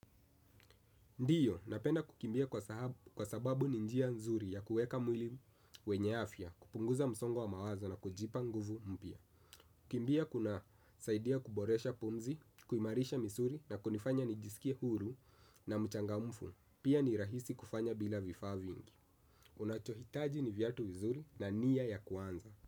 Ndiyo, napenda kukimbia kwa sababu ninjia nzuri ya kuweka mwili wenyeafya, kupunguza msongo wa mawazo na kujipa nguvu mpya. kukimbia kuna saidia kuboresha pumzi, kuimarisha misuli na kunifanya nijisikie huru na mchangamufu. Pia ni rahisi kufanya bila vifaa vingi. Unachohitaji ni viatu vizuri na nia ya kuanza.